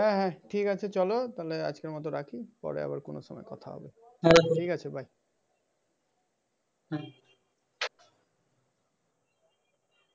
ঠিক আছে চল তাহলে আজকের মত রাখি। পরে আবার কোন সময় বাই।